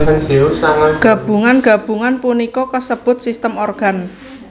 Gabungan gabungan punika kasebut sistem organ